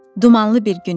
Dumanlı bir gün idi.